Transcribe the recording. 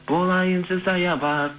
болайыншы саябақ